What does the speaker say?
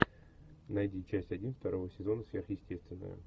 найди часть один второго сезона сверхъестественное